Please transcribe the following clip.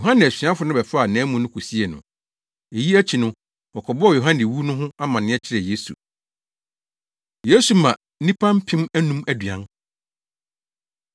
Yohane asuafo no bɛfaa nʼamu no kosiee no. Eyi akyi no wɔkɔbɔɔ Yohane wu no ho amanneɛ kyerɛɛ Yesu. Yesu Ma Nnipa Mpem Anum Aduan